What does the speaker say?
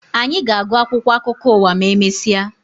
Anyị ga-agụ akwụkwọ akụkọ ụwa ma emesịa